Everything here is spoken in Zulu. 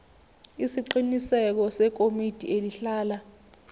isiqiniseko sekomiti elihlala